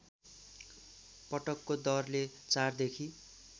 पटकको दरले ४ देखि